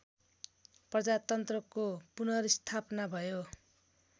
प्रजातन्त्रको पुनर्स्थापना भयो